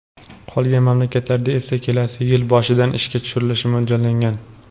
Qolgan mamlakatlarda esa kelasi yil boshidan ishga tushirilishi mo‘ljallangan.